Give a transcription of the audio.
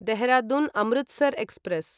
Dehradun Amritsar express